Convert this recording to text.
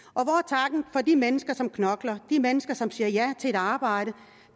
hvor de mennesker som knokler de mennesker som siger ja til et arbejde